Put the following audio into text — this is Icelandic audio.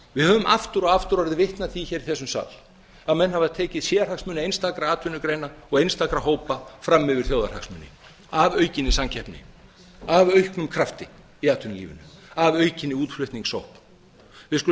við höfum aftur og aftur orðið vitni af því í þessum sal að menn hafa tekið sérhagsmuni einstakra atvinnugreina og einstakra hópa fram yfir þjóðarhagsmuni af aukinni samkeppni af auknum krafti í atvinnulífinu að aukinni útflutningssókn við skulum